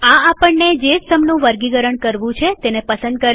આ આપણને જે સ્તંભનું વર્ગીકરણ કરવું છે તેને પસંદ કરશે